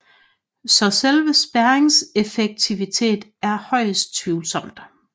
Så selve spærringens effektivitet er højest tvivlsom